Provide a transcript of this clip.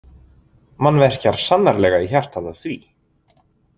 Mann verkjar sannarlega í hjartað af því.